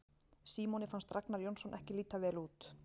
Símoni fannst Ragnar Jónsson ekki líta vel út.